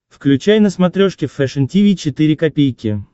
включай на смотрешке фэшн ти ви четыре ка